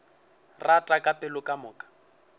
rata ka pelo ka moka